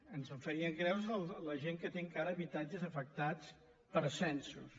ens en faríem creus de la gent que té encara habitatges afectats per censos